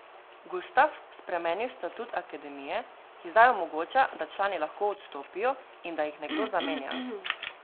Gustaf spremenil statut akademije, ki zdaj omogoča, da člani lahko odstopijo in da jih nekdo zamenja.